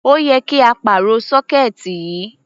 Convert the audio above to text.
Ó yẹ kí á pàrọ̀ sọ́kẹ́ẹ̀tì yìí.